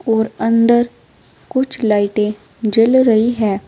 और अंदर कुछ लाइटे जल रही है।